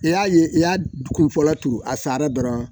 I y'a ye i y'a kun fɔlɔ turu a sara dɔrɔn